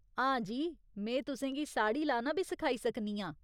हां जी, में तुसेंगी साड़ी लाना बी सखाई सकनी आं।